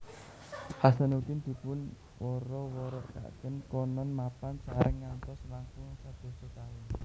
Hasanuddin dipun wara warakaken konon mapan sareng ngantos langkung sadasa taun